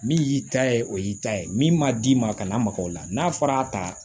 Min y'i ta ye o y'i ta ye min ma d'i ma kana maka o la n'a fɔra a ta